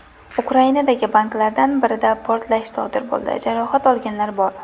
Ukrainadagi banklardan birida portlash sodir bo‘ldi, jarohat olganlar bor.